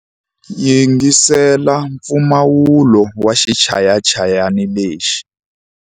Yingisela mpfumawulo wa xichayachayani lexi.